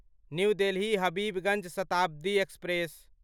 new Delhi Habibganj Shatabdi express